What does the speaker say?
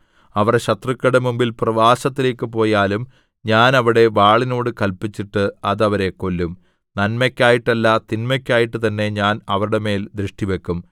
അവർ ശത്രുക്കളുടെ മുമ്പിൽ പ്രവാസത്തിലേക്കു പോയാലും ഞാൻ അവിടെ വാളിനോടു കല്പിച്ചിട്ട് അത് അവരെ കൊല്ലും നന്മയ്ക്കായിട്ടല്ല തിന്മയ്ക്കായിട്ടു തന്നെ ഞാൻ അവരുടെ മേൽ ദൃഷ്ടിവക്കും